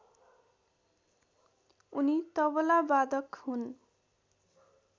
उनी तबलावादक हुन्